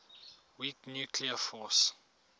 weak nuclear force